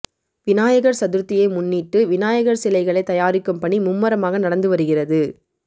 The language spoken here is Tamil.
விநாயகர் சதுர்த்தியை முன்னிட்டு விநாயகர் சிலைகளை தயாரிக்கும் பணி மும்மரமாக நடந்து வருகிறது